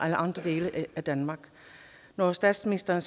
i andre dele af danmark når statsministeren